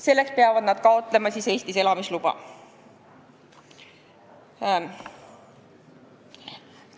Selleks peavad nad taotlema Eestis elamisluba.